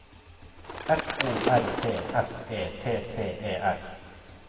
F O R T S E T T E R